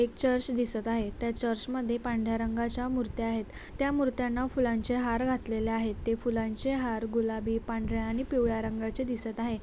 एक चर्च दिसता आहे त्या चर्च मध्ये पांढऱ्या रंगाच्या मुर्त्या आहेत त्या मूर्त्यांना फुलांचे हार घातलेले आहेत ते फुलांचे हार गुलाबी पांढऱ्या आणि पिवळ्या रंगाचे दिसत आहे.